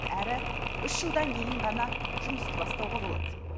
әрі үш жылдан кейін ғана жұмысты бастауға болады